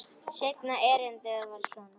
Seinna erindið var svona: